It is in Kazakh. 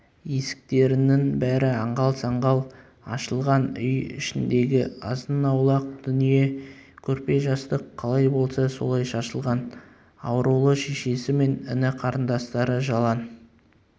есіктерінің бәрі аңғал-саңғал ашылған үй ішіндегі азын-аулақ дүние көрпе-жастық қалай болса солай шашылған аурулы шешесі мен іні-қарындастары жалаң